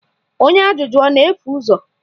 Onye ajụjụ ọ na-efu ụzọ?